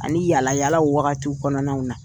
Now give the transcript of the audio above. Ani yaala yalala wagati kɔnɔnaw na.